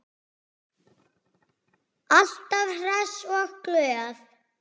Alltaf hress og glöð.